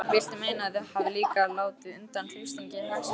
Viltu meina að þau hafi líka látið undan þrýstingi hagsmunaaðila?